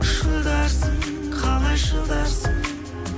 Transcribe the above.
шыдарсың қалай шыдарсың